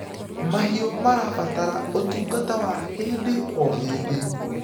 mahiũ marabatara ũtungata wa hĩndĩ o hĩndĩ